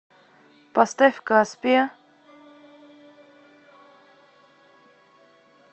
поставь каспия